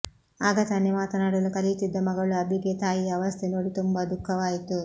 ಆಗ ತಾನೇ ಮಾತನಾಡಲು ಕಲಿಯುತ್ತಿದ್ದ ಮಗಳು ಅಬಿಗೆ ತಾಯಿಯ ಅವಸ್ಥೆ ನೋಡಿ ತುಂಬ ದುಃಖವಾಯಿತು